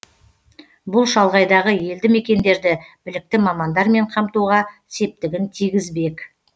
бұл шалғайдағы елді мекендерді білікті мамандармен қамтуға септігін тигізбек